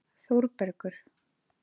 Þórbergur